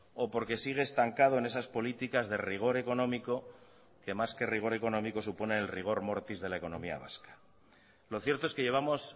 o porque sigue estancado en esas políticas de rigor económico que más que rigor económico supone el rigor mortis de la economía vasca lo cierto es que llevamos